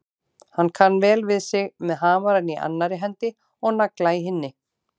Hann kann vel við sig með hamarinn í annarri hendi og nagla í hinni.